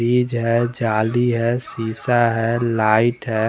बीज है जाली हैं शीशा हैं लाइट हैं।